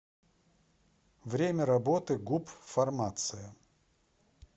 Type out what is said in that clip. время работы гуп фармация